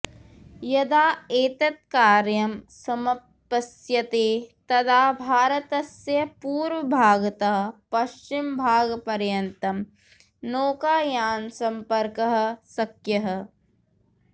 यदा एतत् कार्यम् सम्पत्स्यते तदा भारतस्य पूर्वभागतः पश्चिमभागपर्यन्तं नौकायानसम्पर्कः शक्यः